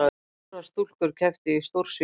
Fjórar stúlkur kepptu í stórsvigi